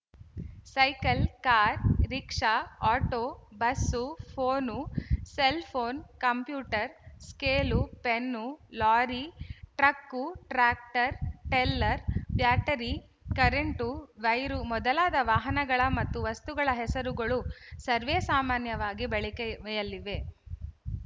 cycle car rickshaw auto bus phone cellphone computer scale pen lorry truck tractor trailer battery current wire ಮೊದಲಾದ ವಾಹನಗಳ ಮತ್ತು ವಸ್ತುಗಳ ಹೆಸರುಗಳು ಸರ್ವೆಸಾಮಾನ್ಯವಾಗಿ ಬಳಕೆಯಲ್ಲಿವೆ